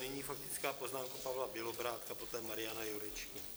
Nyní faktická poznámka Pavla Bělobrádka, poté Mariana Jurečky.